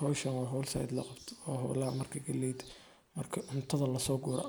Howshan horta zaid aa loo qabta oo marki galleyda laso guro